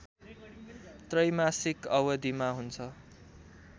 त्रैमासिक अवधिमा हुन्छ